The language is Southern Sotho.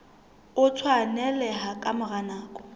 o tshwaneleha ka mora nako